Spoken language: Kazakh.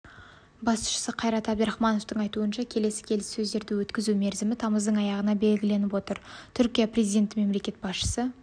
басшысы қайрат әбдірахмановтың айтуынша келесі келіссөздерді өткізу мерзімі тамыздың аяғына белгіленіп отыр түркия президенті мемлекет басшысы